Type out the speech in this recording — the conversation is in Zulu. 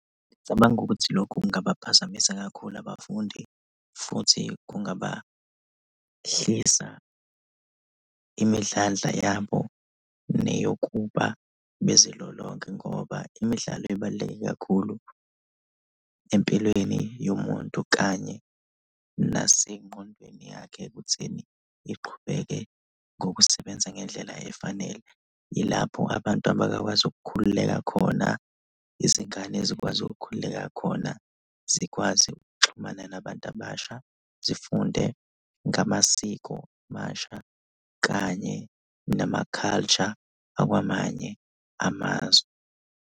Ngicabanga ukuthi lokho kungabaphazamisa kakhulu abafundi futhi kungabahlisa imidlandla yabo neyokuba bezilolonge ngoba imidlalo ibaluleke kakhulu empilweni yomuntu kanye nasengqondweni yakhe ekutheni iqhubeke ngokusebenza ngendlela efanele. Ilapho abantu abakwazi ukukhululeka khona, izingane zikwazi ukukhululeka khona, zikwazi ukuxhumana nabantu abasha, zifunde ngamasiko amasha kanye nama-culture akwamanye amazwe.